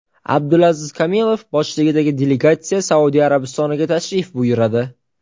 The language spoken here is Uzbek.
Abdulaziz Kamilov boshchiligidagi delegatsiya Saudiya Arabistoniga tashrif buyuradi.